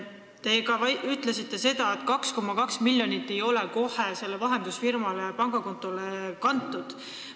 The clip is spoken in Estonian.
Te ütlesite ka seda, et 2,2 miljonit ei ole kohe sellele vahendusfirma pangakontole kantud.